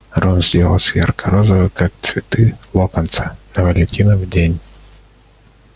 рон сделался ярко-розовый как цветы локонса на валентинов день